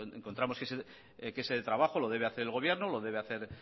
encontramos que ese trabajo lo debe hacer el gobierno lo debe hacer